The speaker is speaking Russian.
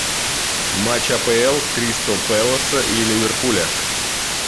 матч апл кристал пэласа и ливерпуля